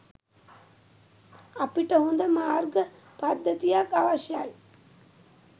අපිට හොද මාර්ග පද්ධතියක් අවශ්‍යයි.